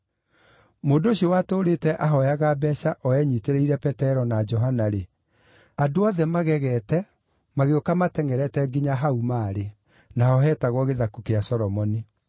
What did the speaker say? Mũndũ ũcio watũũrĩte ahooyaga mbeeca-rĩ, o enyiitĩrĩire Petero na Johana, andũ othe makĩgega na magĩũka matengʼerete nginya hau maarĩ, naho heetagwo Gĩthaku gĩa Solomoni.